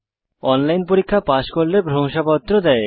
online পরীক্ষা pass করলে প্রশংসাপত্র দেয়